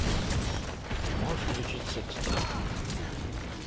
можешь включить секс трип